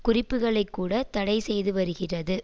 குறிப்புக்களைக் கூட தடை செய்துவருகிறது